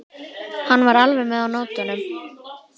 Hann var alveg með á nótunum.